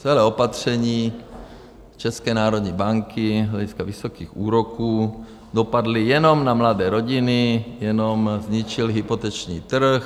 Celé opatření České národní banky z hlediska vysokých úroků dopadlo jenom na mladé rodiny, jenom zničilo hypoteční trh.